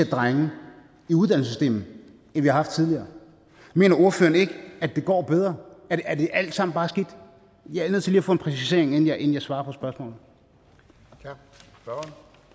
drenge i uddannelsessystemet end vi har haft tidligere mener ordføreren ikke at det går bedre er det alt sammen bare skidt jeg er nødt til lige at få en præcisering inden jeg inden jeg svarer på